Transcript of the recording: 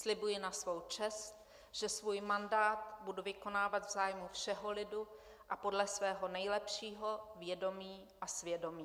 Slibuji na svou čest, že svůj mandát budu vykonávat v zájmu všeho lidu a podle svého nejlepšího vědomí a svědomí."